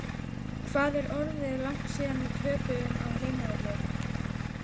Hvað er orðið langt síðan við töpuðum á heimavelli?